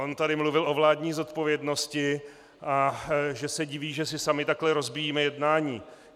On tady mluvil o vládní zodpovědnosti, a že se diví, že si sami takhle rozbíjíme jednání.